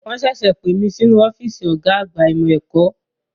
Wọn ṣẹ̀ṣẹ̀ pè mí sínú ọ́fíìsì ọ̀gá àgbà ìmọ̀ ẹ̀kọ́.